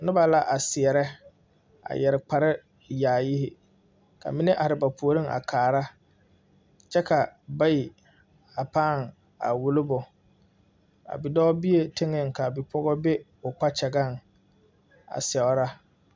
Nuba la a seɛre a yere kpare yaayi ka mene arẽ ba poɔring a kaara kye ka bayi a paa wulobo a bidoɔ bee tenga ka a bipɔgɔ bi ɔ kpakyagan a seɛra.